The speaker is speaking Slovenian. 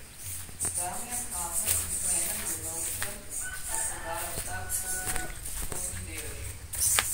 Damijan Hafner in Klemen Jelovčan sta prodala vsak po devetodstotni delež.